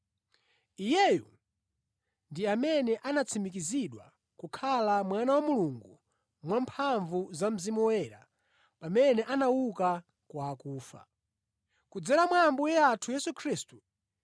Iyeyu ndi amene anatsimikizidwa kukhala Mwana wa Mulungu mwamphamvu za Mzimu Woyera pamene anauka kwa akufa. Kudzera mwa Ambuye athu Yesu Khristu,